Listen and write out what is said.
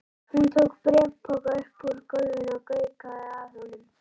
Hún tók bréfpoka upp úr gólfinu og gaukaði að honum.